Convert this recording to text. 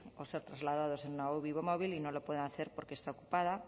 o ser trasladados en una uvi móvil y no lo pueden hacer porque está ocupada